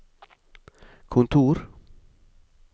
kontor